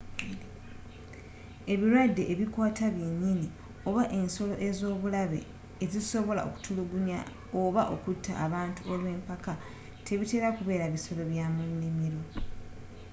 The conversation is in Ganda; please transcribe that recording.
ebirwadde ebikwata byenyini, oba ensolo ez’obulabe ezisobola okutulugunya oba okutta abantu olwempaka tebitera kubeera bisolo bya mu nimiro